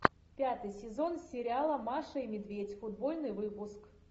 пятый сезон сериала маша и медведь футбольный выпуск